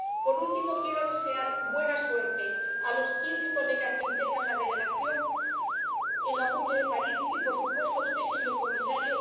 Por último, quiero desear buena suerte a los quince diputados que integran la delegación en la cumbre de París y, por supuesto, a usted, señor Comisario.